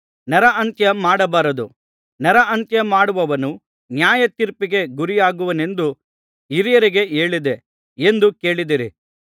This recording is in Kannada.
ನರಹತ್ಯ ಮಾಡಬಾರದು ನರಹತ್ಯ ಮಾಡುವವನು ನ್ಯಾಯತೀರ್ಪಿಗೆ ಗುರಿಯಾಗುವನೆಂದು ಹಿರಿಯರಿಗೆ ಹೇಳಿಯದೆ ಎಂದು ಕೇಳಿದ್ದೀರಿ